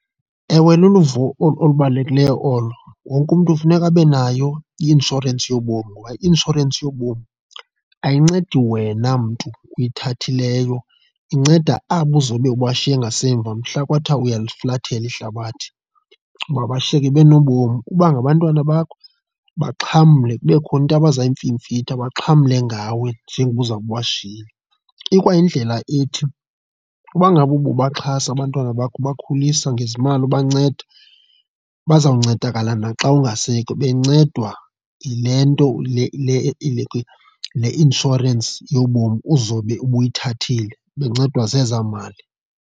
Ewe, luluvo olubalulekileyo olo. Wonke umntu kufuneka abe nayo i-inshorensi yobomi ngoba i-inshorensi yobomi ayincedi wena mntu oyithathileyo, inceda abo uzobe ubashiye ngasemva mhla kwathiwa uyaliflathela ihlabathi uba bashiyeke benobomi. Uba ngabantwana bakho baxhamle kube khona into abaza kuyimfimfitha, baxhamle ngawe njengoba uzawube ubashiyile. Ikwayindlela ethi uba ngaba ububaxhasa abantwana bakho ubakhulisa ngezimali, ubanceda, bazawuncedakala naxa ungasekho, benocedwa yile nto le le le le inshorensi yobomi uzobe ubuyithathile, bencedwa zezaa mali.